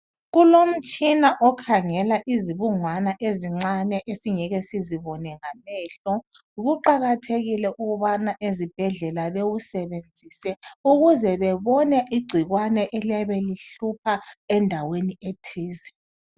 Kulomtshina okhangela izibungwana ezincane esingeke sizibone ngamehlo. Kuqakathekile ukubana ezibhedlela bewusebenzise ukuze bebone igcikwane eliyabe lihlupha endaweni ethize.